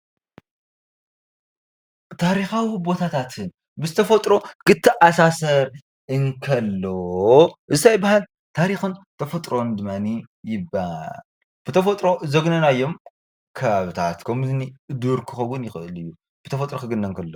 ታሪካዊ ቦታታት ምስ ተፈጥሮ ክተኣሳሰር እንከሎ እንታይ ይበሃል ? ታሪክን ተፈጥሮን ድማ ይበሃል ። ብ ተፈጥሮን ዘግናዮም ከባብታት ከምእኒ ዱር ክከውን ይክእል እዩ። ብ ተፈጥሮ ክግነ እንከሎ።